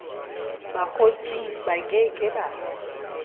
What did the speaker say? bokgotsing ba ke ke ba